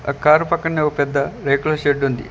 Car పక్కనే ఓ పెద్ద రేకుల షెడ్ ఉంది.